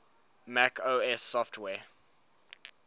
mac os software